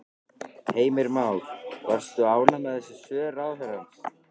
Heimir Már: Varst þú ánægð með þessi svör ráðherrans?